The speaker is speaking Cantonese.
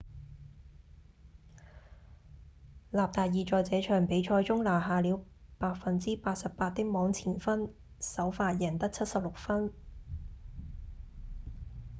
納達爾在這場比賽中拿下了 88% 的網前分首發贏得76分